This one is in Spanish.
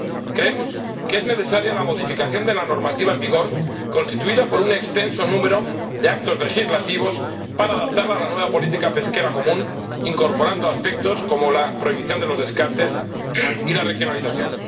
Creemos que es necesaria la modificación de la normativa en vigor, constituida por un extenso número de actos legislativos, para adaptarla a la nueva política pesquera común incorporando aspectos como la prohibición de los descartes y la regionalización.